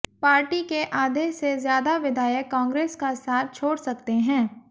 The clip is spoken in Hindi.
पार्टी के आधे से ज्यादा विधायक कांग्रेस का साथ छोड़ सकते हैं